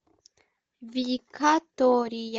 викатория